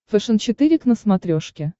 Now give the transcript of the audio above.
фэшен четыре к на смотрешке